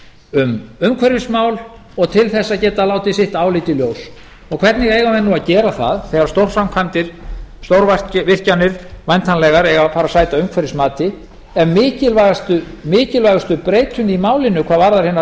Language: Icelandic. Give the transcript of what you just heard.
um umhverfismál og til þess að geta látið sitt álit í ljós hvernig eiga menn að gera það þegar stórframkvæmdir stórvirkjanir væntanlegar eiga að fara að sæta umhverfismati ef mikilvægustu breytunni í málinu hvað varðar hinar